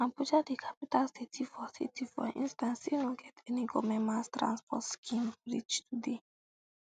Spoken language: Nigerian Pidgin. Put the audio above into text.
abuja di capital city for city for instance still no get any goment mass transport scheme reach today